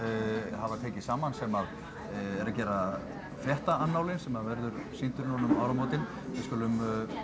hafa tekið saman sem eru að gera fréttaannálinn sem að verður sýndur núna um áramótin við skulum